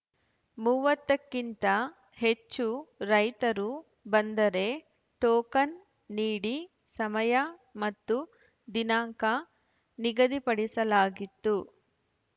ಮೂವತ್ತಕ್ಕಿಂತ ಹೆಚ್ಚು ರೈತರು ಬಂದರೆ ಟೋಕನ್‌ ನೀಡಿ ಸಮಯ ಮತ್ತು ದಿನಾಂಕ ನಿಗದಿಪಡಿಸಲಾಗಿತ್ತು